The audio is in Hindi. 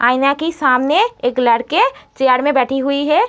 आईन की सामने एक लड़के चेयर में बैठी हुई है।